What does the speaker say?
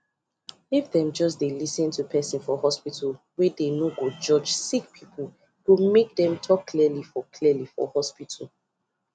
if them just dey lis ten to person for hospitalwey dey no go judge sick peoplee go make dem talk clearly for clearly for hospital